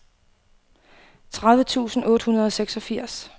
tredive tusind otte hundrede og seksogfirs